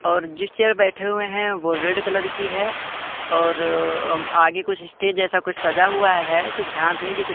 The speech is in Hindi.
और जिस चेयर बैठे हुए है वो रेड कलर की है और आगे कुछ स्टेज जैसा कुछ सजा हुआ हैं कुछ ध्यान से नही--